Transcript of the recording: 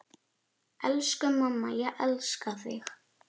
Elsku amma, ég elska þig.